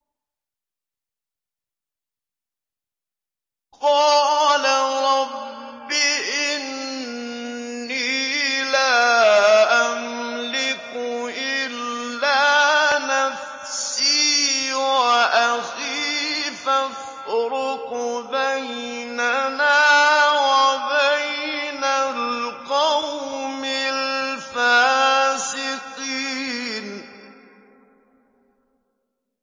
قَالَ رَبِّ إِنِّي لَا أَمْلِكُ إِلَّا نَفْسِي وَأَخِي ۖ فَافْرُقْ بَيْنَنَا وَبَيْنَ الْقَوْمِ الْفَاسِقِينَ